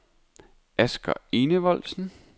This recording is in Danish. Asger Enevoldsen